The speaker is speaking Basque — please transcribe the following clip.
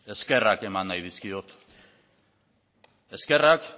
eskerrak eman nahi dizkiot eskerrak